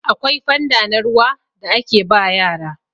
akwai fanda na ruwa da ake ba yara